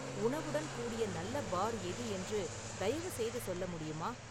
உணவுடன் கூடிய நல்ல பார் எது என்று தயவுசெய்து சொல்ல முடியுமா